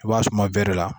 I b'a suma bɛri la